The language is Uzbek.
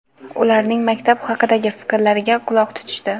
ularning maktab haqidagi fikrlariga quloq tutishdi.